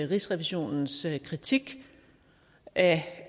rigsrevisionens kritik af